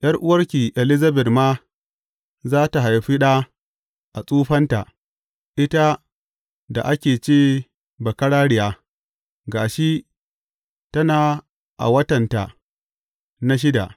’Yar’uwarki Elizabet ma za tă haifi ɗa a tsufanta, ita da aka ce bakararriya, ga shi tana a watanta na shida.